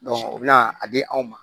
u bɛ na a di anw ma